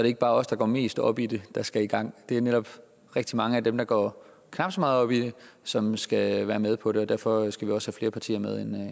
ikke bare os der går mest op i det der skal i gang det netop rigtig mange af dem der går knap så meget op i det som skal være med på det og derfor skal vi også have flere partier med ind